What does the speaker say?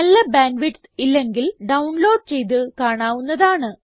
നല്ല bandwidth ഇല്ലെങ്കിൽ download ചെയ്ത് കാണാവുന്നതാണ്